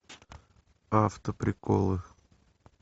автоприколы